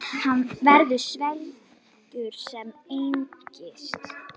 Hann verður svelgur sem engist.